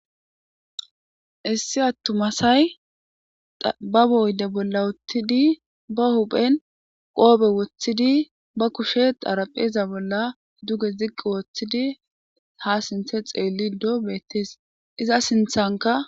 issi attumasay babo oyde bolla uttidi ba huphen qoobe woththidi ba kushe xarapheeza bolla duge ziqqi wooththidi ha sinthe xeelli doo bettees iza sinthanka